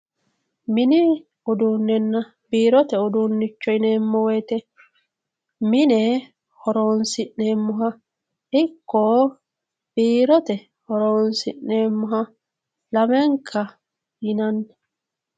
mini uduunichonna biirote uduunnicho yineemmo wote mine horonsi'neemmoha ikko biirote horonsi'neemmoha lamenka yinanni.